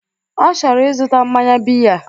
Ọ chọrọ ịzụta mmanya biya